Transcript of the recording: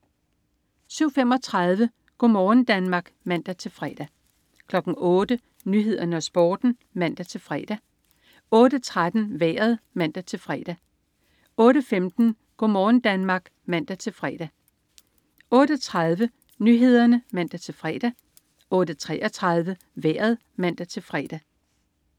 07.35 Go' morgen Danmark (man-fre) 08.00 Nyhederne og Sporten (man-fre) 08.13 Vejret (man-fre) 08.15 Go' morgen Danmark (man-fre) 08.30 Nyhederne (man-fre) 08.33 Vejret (man-fre)